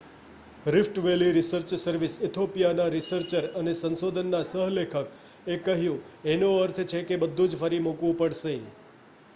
"Rift valley research service Ethiopia ના researcher અને સંશોધનના સહ લેખક એ કહ્યું "એનો અર્થ છે કે બધુજ ફરી મુકવુ પઢશે"".